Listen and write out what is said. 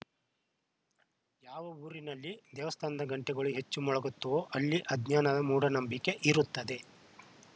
ಯಾವ ಊರಿನಲ್ಲಿ ದೇವಸ್ಥಾನದ ಗಂಟೆಗಳು ಹೆಚ್ಚು ಮೊಳಗುತ್ತವೋ ಅಲ್ಲಿ ಅಜ್ಞಾನ ಮೂಢನಂಬಿಕೆ ಇರುತ್ತದೆ